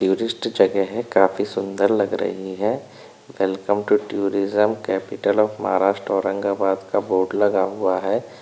Tourist जगह है काफी सुंदर लग रही है welcome to tourism capital of Maharashtra Aurangabad का बोर्ड लगा हुआ है।